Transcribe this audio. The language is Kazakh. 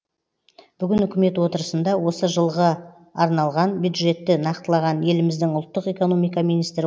бүгін үкімет отырысында осы жылға арналған бюджетті нақтылаған еліміздің ұлттық экономика министрі